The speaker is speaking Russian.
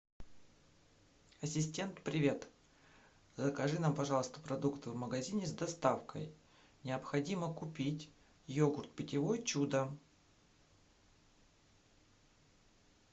ассистент привет закажи нам пожалуйста продукты в магазине с доставкой необходимо купить йогурт питьевой чудо